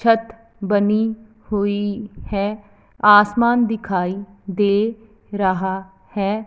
छत बनी हुई हैं आसमान दिखाई दे रहा हैं।